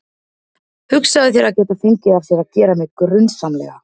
Hugsaðu þér að geta fengið af sér að gera mig grunsamlega.